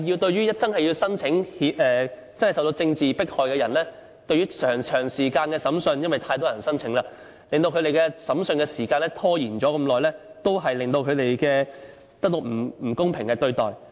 對於真正受到政治迫害的人，長時間審訊——因為太多人申請——令他們的審訊時間拖延很久，也間接令他們得到不公平對待。